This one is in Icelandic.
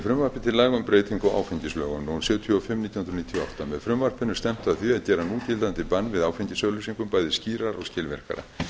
áfengislögum númer sjötíu og fimm nítján hundruð níutíu og átta með frumvarpinu er stefnt að því að gera núgildandi bann við áfengisauglýsingum bæði skýrara og skilvirkara